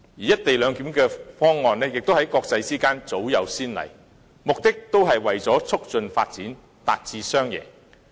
"一地兩檢"的方案在國際間早有先例，目的是為了促進發展，達致雙贏。